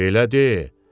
Belə deyil?